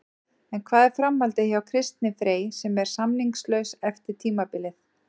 En hvað er framhaldið hjá Kristni Frey sem er samningslaus eftir tímabilið?